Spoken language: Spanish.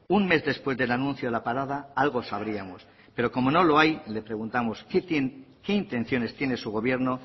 un mes después del anuncio de la parada algo sabríamos pero como no lo hay le preguntamos qué intenciones tiene su gobierno